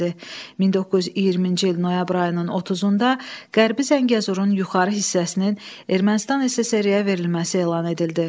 1920-ci il noyabr ayının 30-da Qərbi Zəngəzurun yuxarı hissəsinin Ermənistan SSR-ə verilməsi elan edildi.